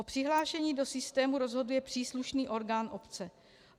O přihlášení do systému rozhoduje příslušný orgán obce.